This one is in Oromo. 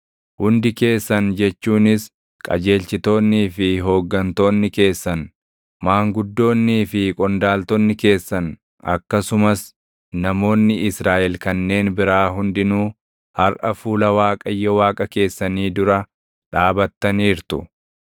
Hundi keessan jechuunis qajeelchitoonnii fi hooggantoonni keessan, maanguddoonnii fi qondaaltonni keessan akkasumas namoonni Israaʼel kanneen biraa hundinuu harʼa fuula Waaqayyo Waaqa keessanii dura dhaabattaniirtu;